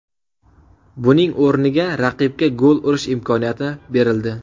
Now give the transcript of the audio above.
Buning o‘rniga raqibga gol urish imkoniyati berildi.